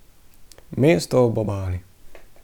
Mesto ob Obali.